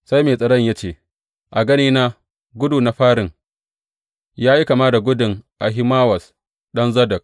Sai mai tsaron ya ce, A ganina gudu na farin, ya yi kama da gudun Ahimawaz, ɗan Zadok.